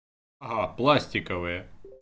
ага пластиковые